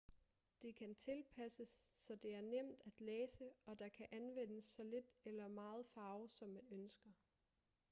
det kan tilpasses så det er nemt at læse og der kan anvendes så lidt eller meget farve som man ønsker